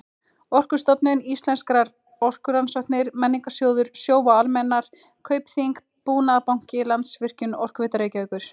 Orkustofnun, Íslenskar orkurannsóknir, Menningarsjóður, Sjóvá-Almennar, Kaupþing-Búnaðarbanki, Landsvirkjun, Orkuveita Reykjavíkur